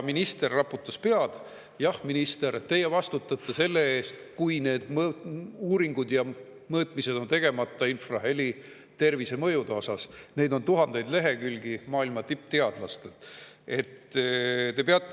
Minister raputas pead – jah, minister, teie vastutate selle eest, kui uuringud ja mõõtmised infraheli tervisemõjude kohta on tegemata, neid on tuhandeid lehekülgi maailma tippteadlastelt.